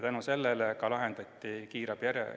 Tänu sellele lühendati kiirabijärjekorda.